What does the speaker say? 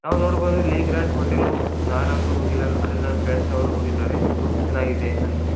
ನಾವ್ ನೋಡಬಹುದು ಇಲ್ಲಿ ಗ್ರಾಂಡ್ ಹೋಟೆಲ್ . ನಾನಂತು ಹೋಗಿಲ್ಲ ನನ್ ಫ್ರೆಂಡ್ಸ್ ಅವರು ಹೋಗಿದಾರೆ. ಇದು ಚೆನ್ನಾಗಿದೆ ಅಂತೆ.